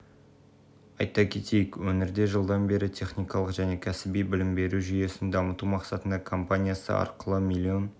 айта кетейік өңірде жылдан бері техникалық және кәсіби білім беру жүйесін дамыту мақсатында компаниясы арқылы млн